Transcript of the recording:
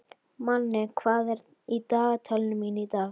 Manni, hvað er í dagatalinu mínu í dag?